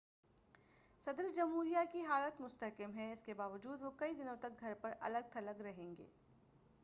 صدر جمہوریہ کی حالت مستحکم ہے اس کے باوجود وہ کئی دنوں تک گھر پر الگ تھلگ رہیں گے